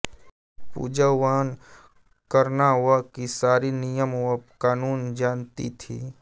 पूज हवन कर्ना वह की सारि नियम वह कानुन जान्ति थि